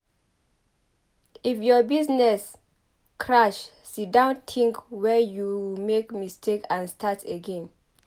If your business crash siddon tink where you make mistake and start again.